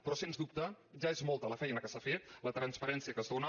però sens dubte ja és molta la feina que s’ha fet la transparència que es dóna